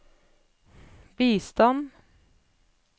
bistand